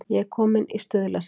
Ég er kominn í Stuðlasel.